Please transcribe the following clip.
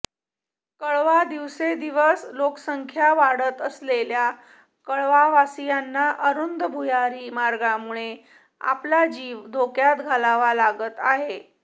कळवा दिवसेंदिवस लोकसंख्या वाढत असलेल्या कळवावासीयांना अरुंद भुयारी मार्गामुळे आपला जीव धोक्यात घालावा लागत आहे